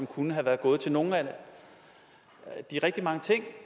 kunne være gået til nogle af de rigtig mange ting